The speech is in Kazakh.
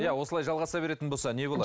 иә осылай жалғаса беретін болса не болады